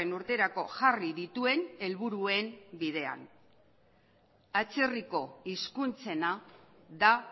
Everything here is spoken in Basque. urterako jarri dituen helburuen bidean atzerriko hizkuntzena da